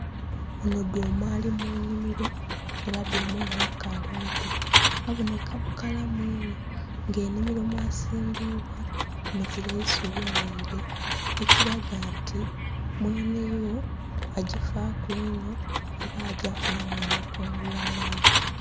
Ono dhuma ali munhimiro era dhuma ono akali muto aboneka bukalamu inho nga enhimiro mwasimbibwa muzira isubi naire ekiraga nti mwenheyo agifaku inho era agyafunhamu amakungula mangi.